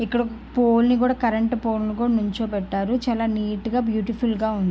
ఇక్కడ పోలె ని కూడా కరెంటు పోలె ని కూడా నిల్చోపెట్టారు. చాలా నీట్ గా బ్యూటిఫుల్ గా ఉంది.